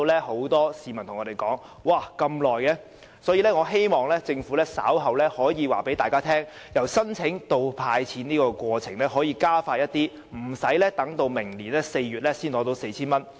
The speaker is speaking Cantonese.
很多市民問我們為甚麼要等這麼久，我希望政府稍後可以告訴大家，由申請到"派錢"的過程可否加快，令申請者無需待至明年4月才取得 4,000 元。